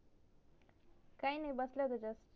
काय नाही बसली